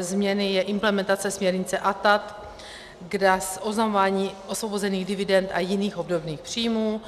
změny je implementace směrnice ATAD, kde je oznamování osvobozených dividend a jiných obdobných příjmů.